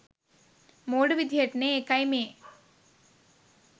මෝඩ විදිහටනේ.ඒකයි මේ.